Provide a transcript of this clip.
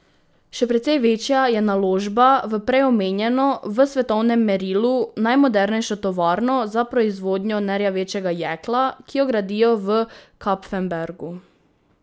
Še precej večja je naložba v prej omenjeno v svetovnem merilu najmodernejšo tovarno za proizvodnjo nerjavečega jekla, ki jo gradijo v Kapfenbergu.